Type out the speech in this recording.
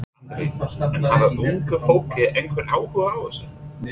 Andri: En hefur unga fólkið einhvern áhuga á þessu?